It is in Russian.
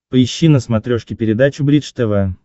поищи на смотрешке передачу бридж тв